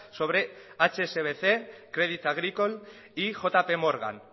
sobre hsbc credit agricole y jp morgan